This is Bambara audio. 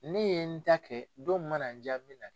Ne ye n ta kɛ don min mana n ja n bi na.